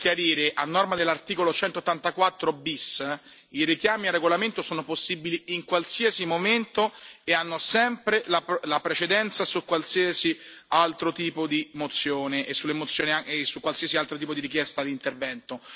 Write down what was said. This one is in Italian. Per chiarire, a norma dell'articolo 184 bis, i richiami al regolamento sono possibili in qualsiasi momento e hanno sempre la precedenza su qualsiasi altro tipo di mozione e su qualsiasi altro tipo di richiesta di intervento.